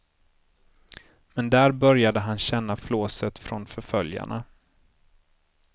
Men där började han känna flåset från förföljarna.